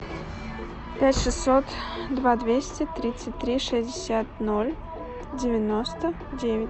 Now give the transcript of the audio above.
пять шестьсот два двести тридцать три шестьдесят ноль девяносто девять